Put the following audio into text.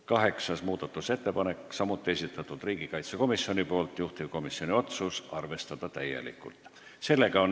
Kaheksas muudatusettepanek on samuti riigikaitsekomisjoni esitatud, juhtivkomisjoni otsus: arvestada täielikult.